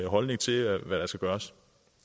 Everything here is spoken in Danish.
holdning til hvad der skal gøres